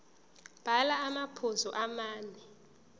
bhala amaphuzu amane